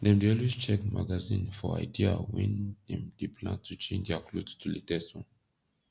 dem dey always check magazine for idea wen dem dey plan to change dia kloth to latest one